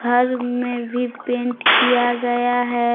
घर में भी पेंट किया गया है।